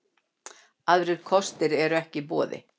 Aðrir kostir eru ekki í boði